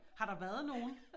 Har der været nogen?